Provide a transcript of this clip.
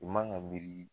I man ka miiri